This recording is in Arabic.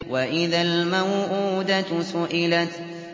وَإِذَا الْمَوْءُودَةُ سُئِلَتْ